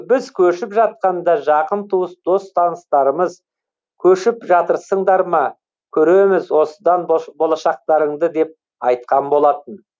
біз көшіп жатқанда жақын туыс дос таныстарымыз көшіп жатырсыңдар ма көреміз осыдан болашақтарыңды деп айтқан болатын